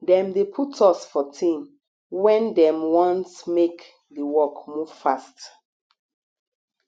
dem dey put us for team wen dem want make di work move fast